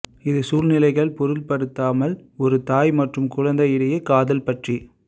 இது சூழ்நிலைகள் பொருட்படுத்தாமல் ஒரு தாய் மற்றும் குழந்தை இடையே காதல் பற்றி